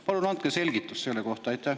Palun andke selgitus selle kohta!